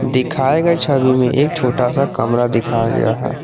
दिखाएगा छवि में एक छोटा सा कमरा दिखाया गया है।